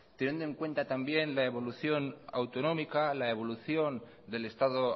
teniendo en cuenta también la evolución autonómica la evolución del estado